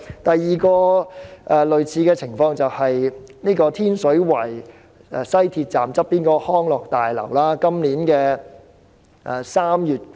第二個類似情況就是天水圍西鐵站旁邊的康樂大樓。